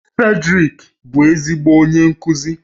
Fredrick bụ ezigbo onye nkuzi